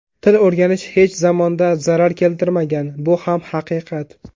Til o‘rganish hech zamonda zarar keltirmagan, bu ham haqiqat.